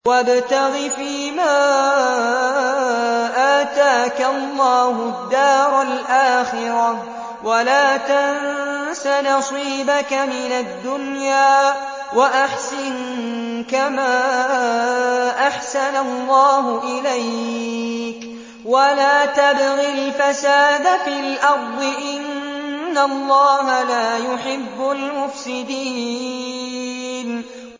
وَابْتَغِ فِيمَا آتَاكَ اللَّهُ الدَّارَ الْآخِرَةَ ۖ وَلَا تَنسَ نَصِيبَكَ مِنَ الدُّنْيَا ۖ وَأَحْسِن كَمَا أَحْسَنَ اللَّهُ إِلَيْكَ ۖ وَلَا تَبْغِ الْفَسَادَ فِي الْأَرْضِ ۖ إِنَّ اللَّهَ لَا يُحِبُّ الْمُفْسِدِينَ